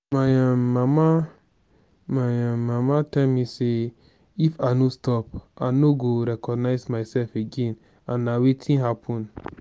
my um mama my um mama tell me say if i no stop i no go recognize myself again and na wetin happen